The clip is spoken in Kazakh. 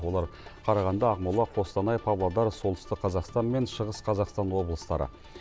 олар қарағанды ақмола қостанай павлодар солтүстік қазақстан мен шығыс қазақстан облыстары